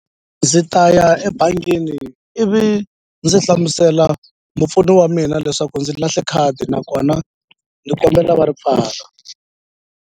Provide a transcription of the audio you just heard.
Ndzi ta ya ebangini ivi ndzi hlamusela mupfuni wa mina leswaku ndzi lahle khadi nakona ni kombela va ri pfala.